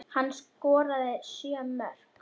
Hann skoraði sjö mörk.